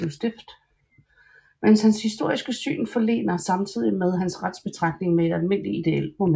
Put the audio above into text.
Men hans historiske syn forlener samtidig hans retsbetragtning med et almindelig ideelt moment